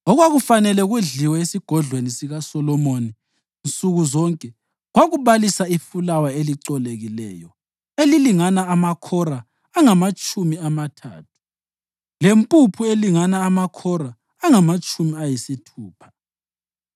Okwakufanele kudliwe esigodlweni sikaSolomoni nsuku zonke kwakubalisa ifulawa elicolekileyo elilingana amakhora angamatshumi amathathu lempuphu elingana amakhora angamatshumi ayisithupha,